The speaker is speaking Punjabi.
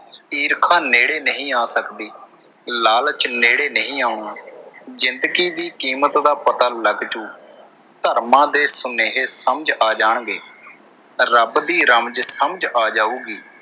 ਈਰਖ਼ਾ ਨੇੜੇ ਨਹੀਂ ਆ ਸਕਦੀ, ਲਾਲਚ ਨੇੜੇ ਨਹੀਂ ਆਉਣਾ, ਜਿੰਦਗੀ ਦੀ ਕੀਮਤ ਦਾ ਪਤਾ ਲੱਗ ਜੂ। ਧਰਮਾਂ ਦੇ ਸੁਨੇਹੇ ਸਮਝ ਆ ਜਾਣਗੇ, ਰੱਬ ਦੀ ਰਮਜ਼ ਸਮਝ ਆ ਜਾਊਗੀ।